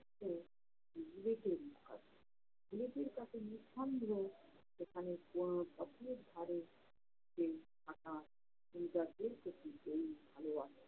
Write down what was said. ছেলেটির কাছে নিঃসন্দেহে সেখানে কোন পথের ধারে থাকা